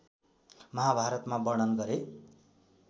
महाभारतमा वर्णन गरे